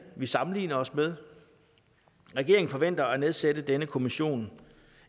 vi sammenligner os med regeringen forventer at nedsætte denne kommission